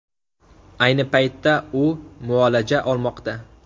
Ayni paytda u muolaja olmoqda.